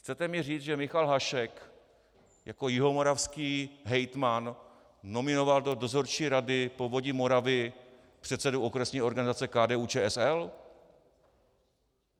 Chcete mi říct, že Michal Hašek jako jihomoravský hejtman nominoval do dozorčí rady Povodí Moravy předsedu okresní organizace KDU-ČSL?